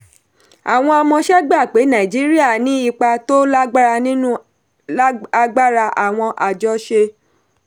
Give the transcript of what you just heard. àwọn amọ̀ṣẹ̀ gbà pé nàìjíríà ní ipa tó lágbára nínú agbára àwọn àjọṣe.